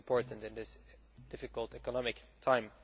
That is important in this difficult economic time.